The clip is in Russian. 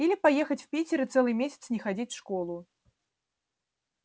или поехать в питер и целый месяц не ходить в школу